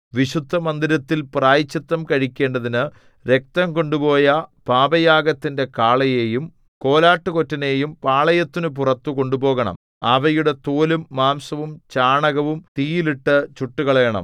വിശുദ്ധമന്ദിരത്തിൽ പ്രായശ്ചിത്തം കഴിക്കേണ്ടതിനു രക്തം കൊണ്ടുപോയ പാപയാഗത്തിന്റെ കാളയെയും കോലാട്ടുകൊറ്റനെയും പാളയത്തിനു പുറത്തു കൊണ്ടുപോകണം അവയുടെ തോലും മാംസവും ചാണകവും തീയിൽ ഇട്ടു ചുട്ടുകളയണം